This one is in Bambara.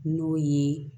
N'o ye